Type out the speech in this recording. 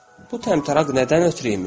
Bu təmtəraq nədən ötrü imiş?